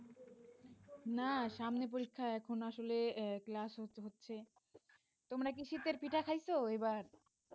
না সামনে পরীক্ষা এখন আসলে ক্লাস হচ্ছে তোমরা কি শীতের পিঠা খাইছো এবার?